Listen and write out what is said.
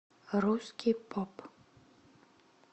русский поп